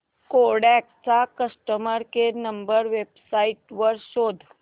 Kodak चा customer care number website वर शोध